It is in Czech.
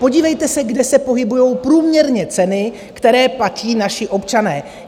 Podívejte se, kde se pohybují průměrně ceny, které platí naši občané.